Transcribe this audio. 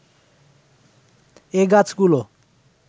এ গাছগুলো